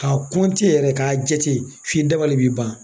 Ka yɛrɛ ka jate f'i dabali bi ban.